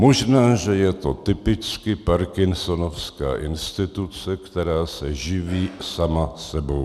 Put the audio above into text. Možná, že je to typicky parkinsonovská instituce, která se živí sama sebou.